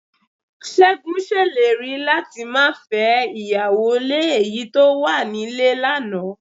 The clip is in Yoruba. Ṣégun ṣèlérí láti máa fẹ́ ìyàwó lé èyí tó wà nílé lánàá